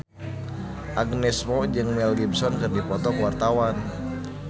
Agnes Mo jeung Mel Gibson keur dipoto ku wartawan